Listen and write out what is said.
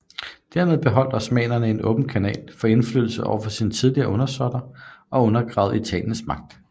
Derved beholdt osmannerne en åben kanal for indflydelse over sine tidligere undersåtter og undergravede Italiens magt